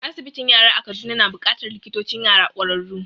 Asibitin yara a Kaduna na buƙatar likitocin yara ƙwararru